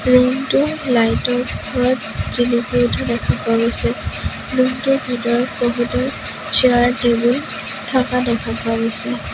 Room টো light ৰ পোহৰত জিলিকি উঠা দেখা পোৱা গৈছে ৰুম টোৰ ভিতৰত বহুতো চেয়াৰ টেবুল থাকা দেখা পোৱা গৈছে।